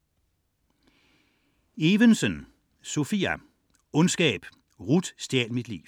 99.4 Evensen, Sopia Evensen, Sophia: Ondskab: Ruth stjal mit liv